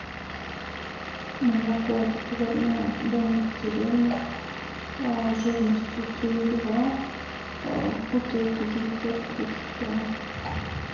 молоко отборное домик в деревне жирностью три и два в бутылке девятьсот тридцать грамм